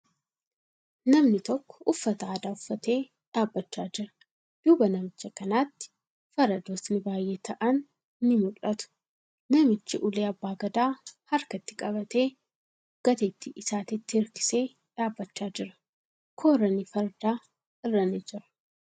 Namni tokko uffata aadaa uffatee dhaabbachaa jira. Duuba namicha kanaatti faradootni baay'ee ta'an ni mul'atu. Namichi ulee abbaa gadaa harkatti qabatee, gateettii isaatitti hirkisee dhaabbachaa jira. Kooran farda irra ni jira.